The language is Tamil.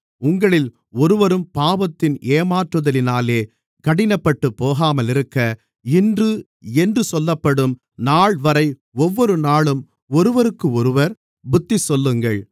உங்களில் ஒருவரும் பாவத்தின் ஏமாற்றுதலினாலே கடினப்பட்டுப்போகாமல் இருக்க இன்று என்று சொல்லப்படும் நாள்வரை ஒவ்வொருநாளும் ஒருவருக்கொருவர் புத்திசொல்லுங்கள்